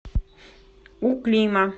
у клима